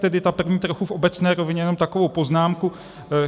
Tedy ta první, trochu v obecné rovině, jenom takovou poznámku.